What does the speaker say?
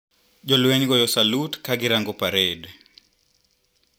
Jolweny goyo salut kagirango pared.